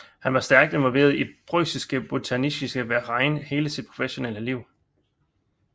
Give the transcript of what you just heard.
Han var stærkt involveret i Preussische Botanische Verein hele sit professionelle liv